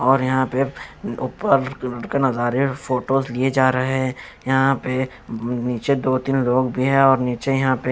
और यहां पे ऊपर नजारे फोटोज लिए जा रहे हैं यहां पे नीचे दो तीन लोग भी हैं और नीचे यहां पे--